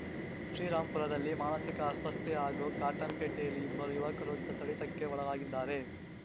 ಶ್ರೀರಾಮ್ ಪುರದಲ್ಲಿ ಮಾನಸಿಕ ಅಸ್ವಸ್ಥೆ ಹಾಗೂ ಕಾಟನ್‌ಪೇಟೆಯಲ್ಲಿ ಇಬ್ಬರು ಯುವಕರು ಥಳಿತಕ್ಕೆ ಒಳಗಾಗಿದ್ದಾರೆ